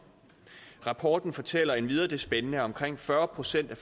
rapporten fortæller endvidere det spændende at omkring fyrre procent af